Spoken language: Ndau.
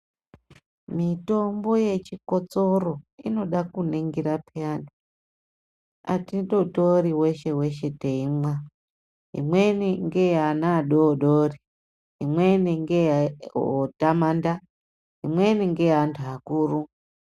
Mitombo yechikotsoro inoda kuningira peyani atindotori weshe-weshe teimwa. Imweni ngeyeana adoodori, imweni ngeye otamanda, imweni ngeyeantu akuru.